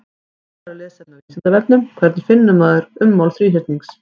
Frekara lesefni á Vísindavefnum: Hvernig finnur maður ummál þríhyrnings?